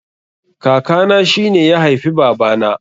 Kaka na shine ya haifi baba na